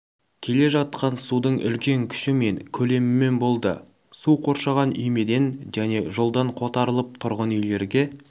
кележатқан судың үлкен күші мен көлемімен болды су қоршаған үймеден және жолдан қотарылып тұрғын үйлерге